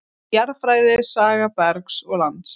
Jarðfræði- saga bergs og lands.